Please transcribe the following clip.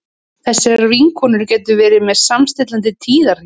þessar vinkonur gætu verið með samstilltan tíðahring